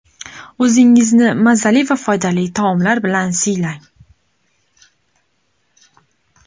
O‘zingizni mazali va foydali taomlar bilan siylang.